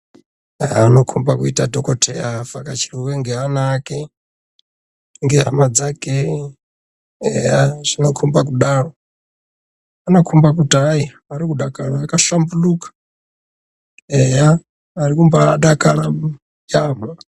Eya anokomba kuita dhokoteya avhakachirwe ngeana ake, ngehama dzake. Eya zvinokomba kudaro. Zvinokomba kuti hayi arikudakara, akahlambuluka. Eya arikumbaadakara yaampho.